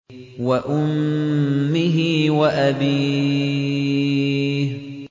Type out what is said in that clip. وَأُمِّهِ وَأَبِيهِ